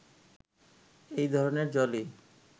এই ধরনের জলই